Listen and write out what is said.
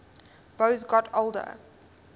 boas got older